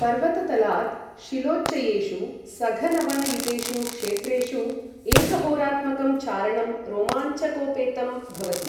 पर्वततलात् शिलोच्चयेषु, सघनवनयुतेषु क्षेत्रेषु एकहोरात्मकं चारणं रोमाञ्चकोपेतं भवति।